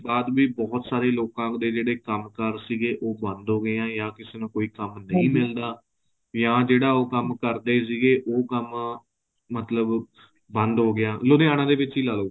ਬਾਅਦ ਵੀ ਬਹੁਤ ਸਾਰੇ ਲੋਕਾ ਦੇ ਜਿਹੜੇ ਕੰਮ ਕਾਰ ਸੀਗੇ ਉਹ ਬੰਦ ਹੋ ਗਏ ਐ ਜਾ ਕਿਸੇ ਨੂੰ ਕੋਈ ਕੰਮ ਨਹੀਂ ਮਿਲਦਾ ਜਾ ਉਹ ਜਿਹੜਾ ਕੰਮ ਕਰਦੇ ਸੀਗੇ ਉਹ ਕੰਮ ਮਤਲਬ ਬੰਦ ਹੋ ਗਿਆ ਲੁਧਿਆਣਾ ਦੇ ਵਿੱਚ ਲਾਲੋ